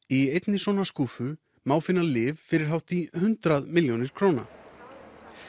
í einni svona skúffu má finna lyf fyrir hátt í hundrað milljónir króna